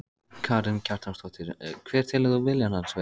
Karen Kjartansdóttir: Hver telur þú vilja hans vera?